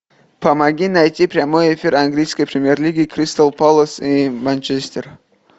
помоги найти прямой эфир английской премьер лиги кристал пэлас и манчестер